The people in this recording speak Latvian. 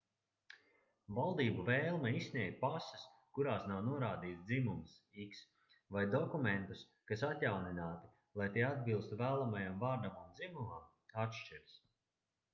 valdību vēlme izsniegt pases kurās nav norādīts dzimums x vai dokumentus kas atjaunināti lai tie atbilstu vēlamajam vārdam un dzimumam atšķiras